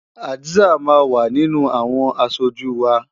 Hadza máa wà nínú àwọn aṣojú wa.